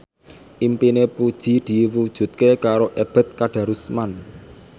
impine Puji diwujudke karo Ebet Kadarusman